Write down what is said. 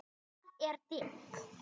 Það er dimmt.